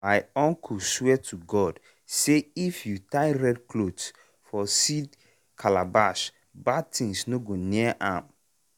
i dey keep dry pigeon pea seed inside calabash then calabash then i go cover am with news paper.